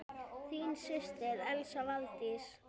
Þín systir, Elsa Valdís.